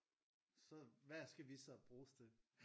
Så hvad skal vi så bruges til?